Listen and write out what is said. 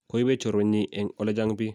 koibet choruenyi eng ole chang biik